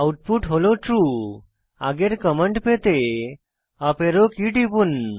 output হল true আগের command পেতে আপ অ্যারো কী টিপুন